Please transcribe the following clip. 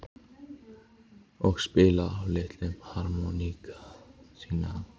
Og spila á litlu harmónikkuna sína?